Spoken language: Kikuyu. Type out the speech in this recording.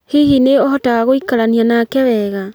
Hihi nĩ ũhotaga gũikarania nake wega?